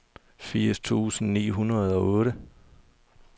firs tusind ni hundrede og otte